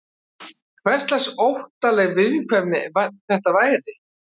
Hverslags óttaleg viðkvæmni þetta væri?